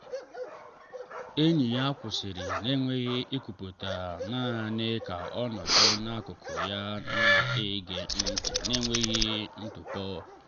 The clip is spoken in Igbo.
enyi ya kwụsịrị n’enweghị ikwupụta naanị ka o nọdụ n’akụkụ ya na-ege ntị n’enweghị ntụpọ.